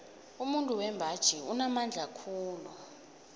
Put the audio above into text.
umuntu wembaji unamandla khulu